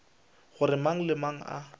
gore mang le mang a